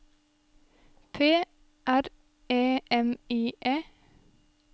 P R E M I E